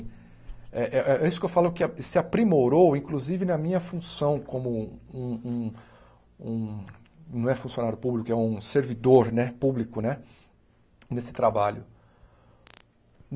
É é é isso que eu falo, que a se aprimorou, inclusive na minha função como um um um... não é funcionário público, é um servidor né público né nesse trabalho.